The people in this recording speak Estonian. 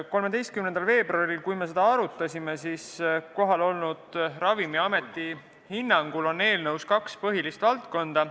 13. veebruaril, kui me seda arutasime, selgitasid kohal olnud Ravimiameti esindajad, et eelnõu käsitleb kaht põhilist valdkonda.